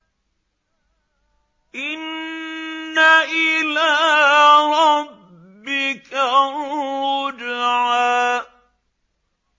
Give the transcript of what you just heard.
إِنَّ إِلَىٰ رَبِّكَ الرُّجْعَىٰ